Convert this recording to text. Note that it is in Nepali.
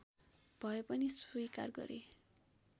भए पनि स्वीकार गरे